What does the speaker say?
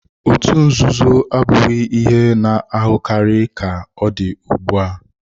Otú nzuzo abụghị ihe a na-ahụkarị ka ọ dị ugbu a.